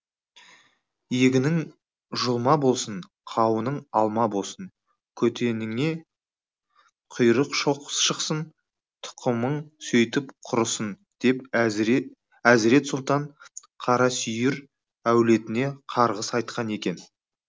егінің жұлма болсын қауының алма болсын көтеніңе құйрық шықсын тұқымың сөйтіп құрысын деп әзірет сұлтан қарасүйір әулетіне қарғыс айтқан екен